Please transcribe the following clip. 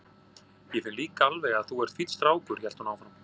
Ég finn líka alveg að þú ert fínn strákur, hélt hún áfram.